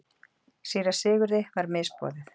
Síra Sigurði var misboðið.